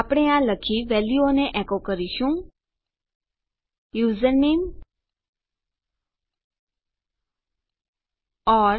આપણે આ લખી વેલ્યુઓને એકો કરીશું યુઝરનેમ ઓર